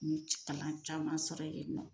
N cik kalan caman sɔrɔ yɛ nɔ.